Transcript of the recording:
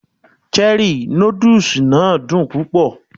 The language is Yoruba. Cherrí nódùsì náà dùn púpọ̀